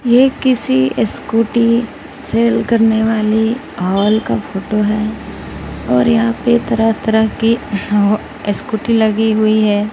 ये किसी scooty sale करने वाली हॉल का फोटो है और यहां पे तरह तरह की अह स्कूटी लगी हुई है।